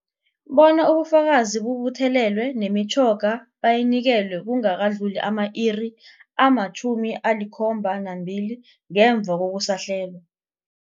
Bona ubufakazi bubuthelelwe, nemitjhoga bayinikelwe kungakadluli ama-iri ama-72 ngemva kokusahlelwa.